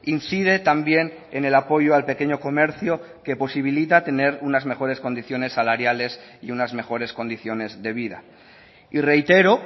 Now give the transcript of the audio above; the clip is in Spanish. incide también en el apoyo al pequeño comercio que posibilita tener unas mejores condiciones salariales y unas mejores condiciones de vida y reitero